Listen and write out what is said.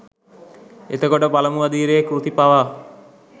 එතකොට පළමු අදියරේ කෘති පවා